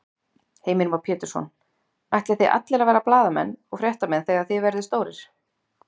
Heimir Már Pétursson: Ætlið þið allir að verða blaðamenn og fréttamenn þegar þið verðið stórir?